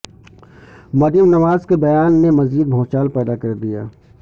مریم نواز کے بیان نے مزید بھونچال پیدا کردیا